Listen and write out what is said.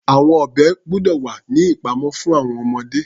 Àwọn ọ̀bẹ gbọ́dọ̀ wà ní ìpamọ́ fún àwọn ọmọdé.